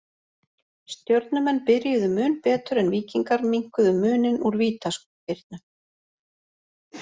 Stjörnumenn byrjuðu mun betur en Víkingar minnkuðu muninn úr vítaspyrnu.